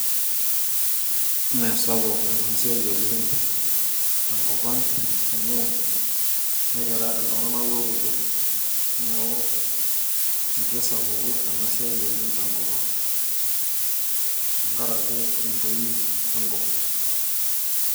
Mesapuk enasiai oleng tenkop ang amu, ekira iltung'anak lorpukel. Neeku, eitu esapuku enasiai oleng tenkop ang. Tenkaraki entoii enkop.